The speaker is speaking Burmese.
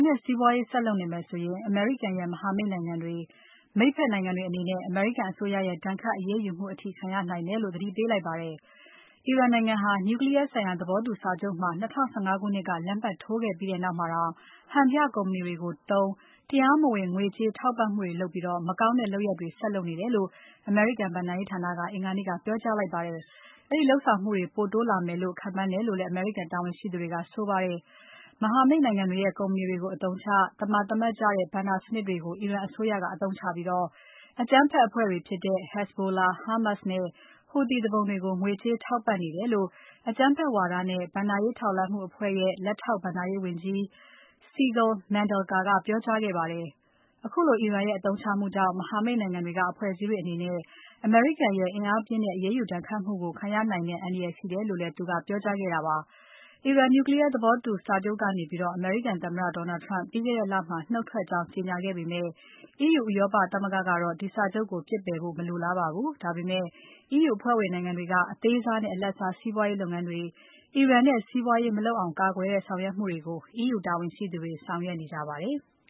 နဲ့စီးပွားရေးဆက်လုပ်နေမယ်ဆိုရင် အမေရိကန်ရဲ့ မဟာမိတ်နိုင်ငံတွေ၊ မိတ်ဖက်နိုင်ငံတွေအနေနဲ့ အမေရိကန်အစိုးရရဲ့ ဒဏ်ခတ်အရေးယူမှုအထိ ခံရနိုင်တယ်လို့သတိပေးလိုက်ပါတယ်။ အီရန်နိုင်ငံဟာ Nuclear ဆိုင်ရာသဘောတူစာချုပ်မှာ ၂၀၁၅ ခုနှစ်က လက်မှတ်ထိုးခဲ့ပြီးနောက်မှာတောင် ဟန်ပြကုမ္ပဏီတွေသုံး တရားမဝင်ငွေကြေး ထောက်ပံ့မှုတွေလုပ်ပြီး မကောင်းတဲ့လုပ်ရပ်တွေ ဆက်လုပ်နေတယ်လို့ အမေရိကန်ဘဏ္ဍာရေးဌာနက အင်္ဂါနေ့က ပြောကြားလိုက်ပါတယ်။ အဲဒီလုပ်ဆောင်မှုတွေ ပိုတိုးလာမယ်လို့ ခန့်မှန်းတယ်လို့လည်း အမေရိကန်တာဝန်ရှိသူတွေက ပြောပါတယ်။ မဟာမိတ်နိုင်ငံတွေရဲ့ ကုမ္ပဏီတွေကို အသုံးချ။ သမာဓိရှိတဲ့ ဘဏ္ဍာစနစ်တွေကို အီရန်အစိုးရက အသုံးချပြီး အကြမ်းဖက်အဖွဲ့တွေဖြစ်တဲ့ Hezbollah, Hamas နဲ့ ဟူသီသူပုန်တွေကို ငွေကြေးထောက်ပံ့နေတယ်လို့ အကြမ်းဖက်ဝါဒနဲ့ ဘဏ္ဍာရေး ထောက်လှမ်းမှုအဖွဲ့ရဲ့ လက်ထောက်ဘဏ္ဍာရေးဝန်ကြီး Sigal Mandelker ကပြောကြားခဲ့ပါတယ်။ ခုလိုအီရန်ရဲ့ အသုံးချမှုကြောင့် မဟာမိတ်နိုင်ငံတွေက အဖွဲ့အစည်းတွေအနေနဲ့ အမေရိကန်ရဲ့ အင်းအားပြင်းတဲ့ အရေးယူဒဏ်ခတ်မှုကို ခံရနိုင်တဲ့ အန္တရာယ်ရှိတယ်လို့ သူကပြောကြားခဲ့တာဖြစ်ပါတယ်။ အီရန် Nuclear သဘောတူညီချက်ကနေ အမေရိကန်သမ္မတ Donald Trump ကပြီးခဲ့တဲ့ လမှာ နှုတ်ထွက်ကြောင်း ကြေညာခဲ့ပေမဲ့ EU ဥရောပသမဂ္ဂကတော့ ဒီစာချုပ်ကို ပစ်ပယ်ဖို့ မလိုလားပါဘူး။ ဒါပေမဲ့ EU အဖွဲ့ဝင်နိုင်ငံတွေက အသေးစားနဲ့ အလတ်စားစီးပွားရေးလုပ်ငန်းတွေ အီရန်နဲ့ စီးပွားရေး မလုပ်အောင်ကာကွယ်တဲ့ ဆောင်ရွက်မှုတွေကို EU တာဝန်ရှိသူတွေ ဆောင်ရွက်နေကြပါတယ်။